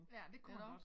Ja det kunne man godt